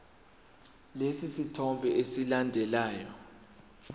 lesi sithombe esilandelayo